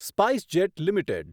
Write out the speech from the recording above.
SpiceJet limited